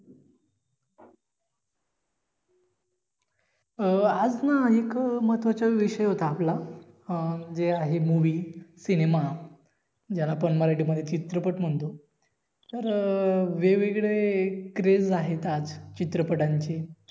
अं आज ना एक महत्वाचा विषय होता आपला अं म्हणजे आहे Movie सिनेमा ज्याला आपण मराठी मध्ये चित्रपट म्हणतो तर अं वेगवेगळे craze आहेत आज चित्रपटांचे